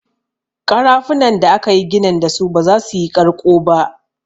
Ƙarafunan da akayi ginin dasu ba za su yi ƙarƙo ba.